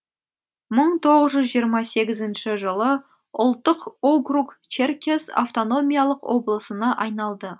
мың тоғыз жүз жиырма сегізінші жылы ұлттық округ черкес автономиялық облысына айналды